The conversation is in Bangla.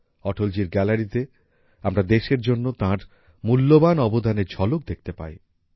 অটলজির গ্যালারিতে আমরা দেশের জন্য তাঁর মূল্যবান অবদানের ঝলক দেখতে পাই